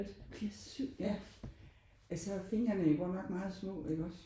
Han bliver 7 når ja altså fingrene er jo godt nok meget små iggås